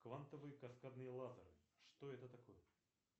квантовые каскадные лазеры что это такое